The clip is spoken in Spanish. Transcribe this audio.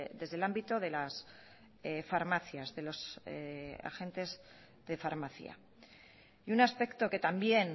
desde el ámbito de las farmacias de los agentes de farmacia y un aspecto que también